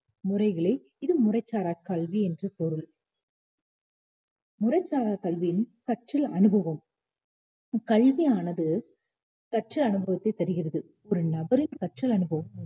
முறைகளை இது முறைசாரா கல்வி என்று பொருள் முறை சார கல்வியின் கற்றல் அனுபவம் கல்வியானது கற்ற அனுபவத்தை தருகிறது ஒரு நபரின் கற்றல் அனுபவம்